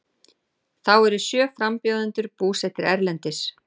Þá eru sjö frambjóðendur búsettir erlendis